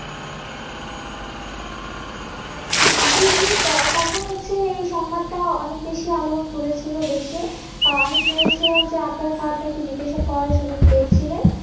জি জি তখন হচ্ছে এই সংবাদটাও অনেক বেশি আলোড়ন তুলি ছিল দেশে আমি শুনেছিলাম যে আদ্রান সাহান নাকি বিদেশে পড়াশোনার সুযোগ পেয়েছিলেন